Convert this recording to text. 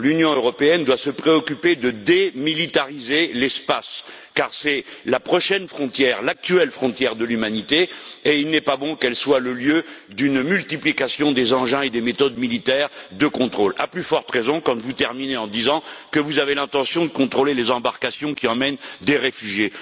L'Union européenne doit se préoccuper de démilitariser l'espace, car c'est la prochaine frontière, l'actuelle frontière de l'humanité, et il n'est pas bon qu'elle soit le lieu d'une multiplication des engins et des méthodes militaires de contrôle, à plus forte raison quand vous terminez en disant que vous avez l'intention de contrôler les embarcations qui emmènent des réfugiés.